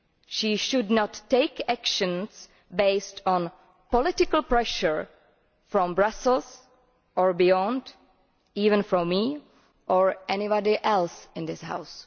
She should not take actions based on political pressure from Brussels or beyond, even from me or anybody else in this House.